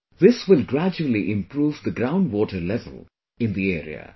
This will gradually improve the ground water level in the area